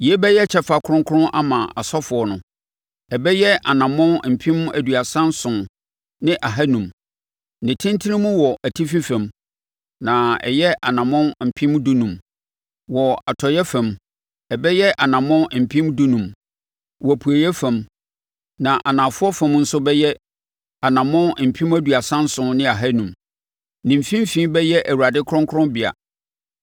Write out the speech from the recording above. Yei bɛyɛ kyɛfa kronkron ama asɔfoɔ no. Ɛbɛyɛ anammɔn mpem aduasa nson ne ahanum (37,500) ne tentene mu wɔ atifi fam, na ayɛ anammɔn mpem dunum (15,000) wɔ atɔeɛ fam. Ɛbɛyɛ anammɔn mpem dunum (15,000) wɔ apueeɛ fam, na anafoɔ fam nso ɛbɛyɛ anammɔn mpem aduasa nson ne ahanum (37,500). Ne mfimfini bɛyɛ Awurade kronkronbea.